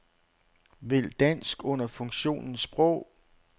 Vælg dansk under funktionen sprog.